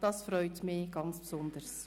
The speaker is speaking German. Das freut mich ganz besonders.